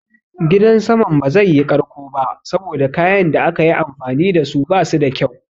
Gidan saman ba zai yi ƙarko ba saboda kayan da aka yi amfani dasu basu da kyau.